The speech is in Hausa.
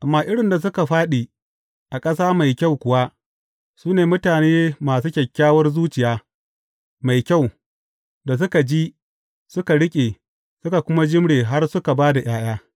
Amma irin da suka fāɗi a ƙasa mai kyau kuwa, su ne mutane masu kyakkyawar zuciya, mai kyau, da suka ji, suka riƙe, suka kuma jimre har suka ba da ’ya’ya.